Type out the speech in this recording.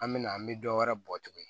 An mɛna an mi dɔwɛrɛ bɔ tuguni